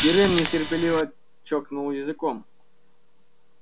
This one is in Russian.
пиренн нетерпеливо чокнул языком